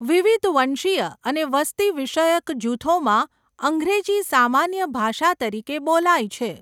વિવિધ વંશીય અને વસ્તી વિષયક જૂથોમાં અંગ્રેજી સામાન્ય ભાષા તરીકે બોલાય છે.